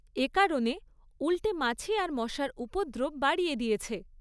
এ কারণে উল্টে মাছি আর মশার উপদ্রব বাড়িয়ে দিয়েছে।